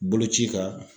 Boloci kan